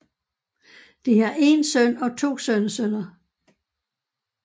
De har en søn og to sønnesønner